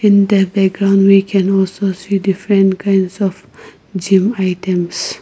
In the background we can also see different kinds of gym items.